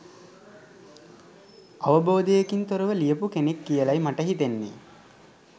අවබෝධයකින් තොරව ලියපු කෙනෙක් කියලයි මට හිතෙන්නෙ.